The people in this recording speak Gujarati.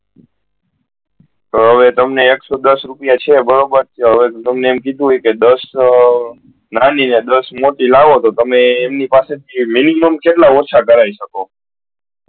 તો હવે તમને એક સૌ દસ રુપયા છે બરોબર હવે તમને એમ કીધું હોય કે દસ આ નાની ને દસ મોટી લાવ તો તમે એમની પાસે થી minimum કેટલી ઓછા કર શકો